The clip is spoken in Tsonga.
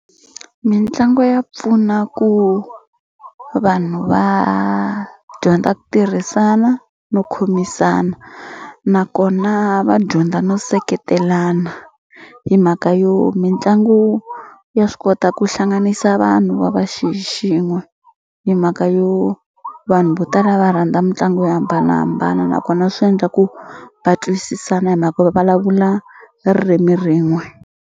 Mitlangu ya pfuna ku vanhu va dyondza ku tirhisana no khomisana nakona va dyondza no seketelana hi mhaka yo mitlangu ya swi kota ku hlanganisa vanhu va va xi xin'we hi mhaka yo vanhu vo tala va rhandza mitlangu yo hambanahambana nakona swi endla ku va twisisana hi mhaka yo vulavula ririmi rin'we.